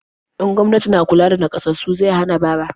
In gwamnati na kula da naƙasassu zai hana bara.